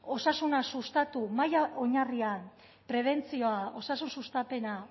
osasuna sustatu maila oinarrian prebentzioa osasun sustapena